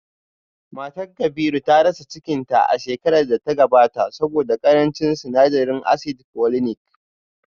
Matar Kabiru ta rasa cikinta a shekarar da ta gabata saboda karancin sinadarin asidi foliniki